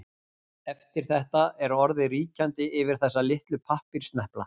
Eftir þetta er orðið ríkjandi yfir þessa litlu pappírssnepla.